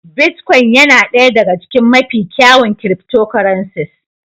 Bitcoin yana ɗaya daga cikin mafi kyawun cryptocurrencies.